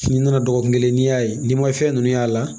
N'i nana dɔgɔkun kelen n'i y'a ye n'i ma fɛn ninnu y'a la